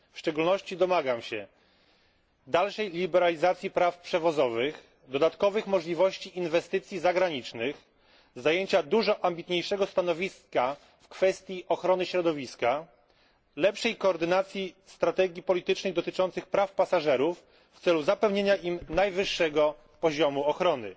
W szczególności domagam się dalszej liberalizacji praw przewozowych, dodatkowych możliwości inwestycji zagranicznych, zajęcia dużo ambitniejszego stanowiska w kwestii ochrony środowiska, lepszej koordynacji strategii politycznych dotyczących praw pasażerów w celu zapewnienia im najwyższego poziomu ochrony.